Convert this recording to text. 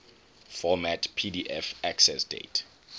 format pdf accessdate